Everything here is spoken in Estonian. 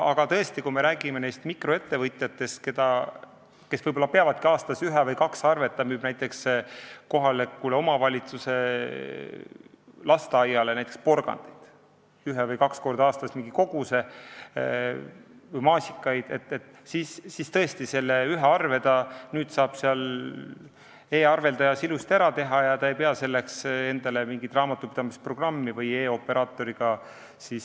Aga tõesti, kui me räägime mikroettevõtjatest, kes võib-olla peavadki aastas saatma ühe või kaks arvet – nad müüvad näiteks kohaliku omavalitsuse lasteaiale üks või kaks korda aastas mingi koguse porgandeid või maasikaid –, siis tõesti, selle ühe arve saab ta e-arveldajas ilusasti ära teha ega pea selleks endale mingit raamatupidamisprogrammi hankima või e-operaatoriga liituma.